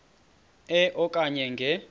e okanye nge